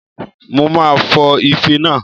Mo máa fọ ife náà